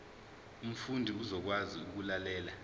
umfundi uzokwazi ukulalela